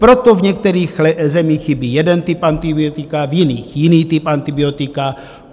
Proto v některých zemích chybí jeden typ antibiotika, v jiných jiný typ antibiotika.